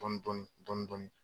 Dɔɔnin Dɔɔnin Dɔɔnin